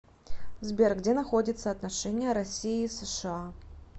сбер где находится отношения россии и сша